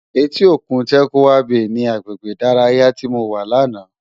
Éti ókún Tàkwá Bé ni àgbégbé idàráyá ti mó wá làná